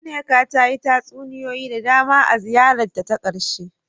Nneka ta yi tatsuniyoyi da dama a ziyarar ta ta karshe.